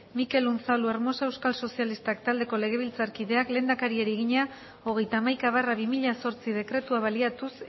mikel unzalu hermosa euskal sozialistak taldeko legebiltzarkideak lehendakariari egina hogeita hamaika barra bi mila zortzi dekretua baliatuz